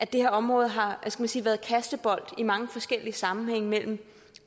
det her område har været kastebold i mange forskellige sammenhænge mellem